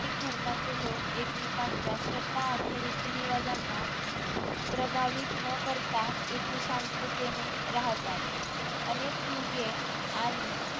प्रत्येक धर्माचे लोक एकमेकांच्या श्रद्धा आणि रीती रीवाजांना प्रभावित न करता इथे शांततेने राहतात अनेक युगे आणि